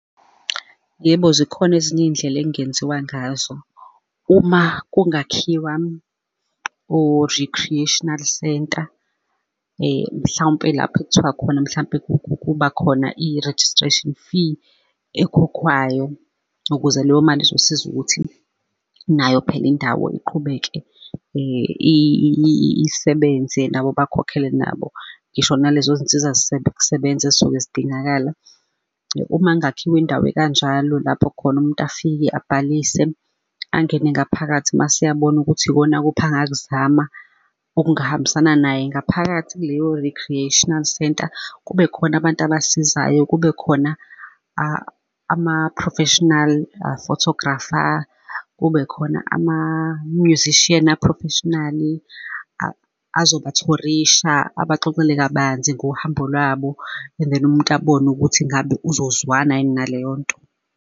Yebo, zikhona ezinye iy'ndlela okungenziwa ngazo uma kungakhiwa o-recreational centre, mhlawumpe lapho kuthiwa khona mhlampe kuba khona i-registration fee ekhokhwayo, ukuze leyo mali izosiza ukuthi nayo phela indawo iqhubeke isebenze nabo bakhokhele nabo, ngisho nalezo zinsiza kusebenza ezisuke zidingakala. Uma kungakhiwa indawo ekanjalo lapho khona umuntu afike abhalise angene ngaphakathi mase eyabona ukuthi ikona kuphi angakuzama okungahambisana naye ngaphakathi kuleyo-recreational centre. Kube khona abantu abasizayo, kube khona ama-profesional photographer kube khona ama-musician a-professional-i azobathorisha, abaxoxele kabanzi ngohambo lwabo and then umuntu abone ukuthi ngabe uzozwana yini naleyo nto.